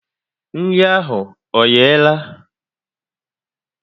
Nri ahụ ọ yehe la?